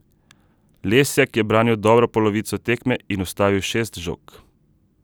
Lesjak je branil dobro polovico tekme in ustavil šest žog.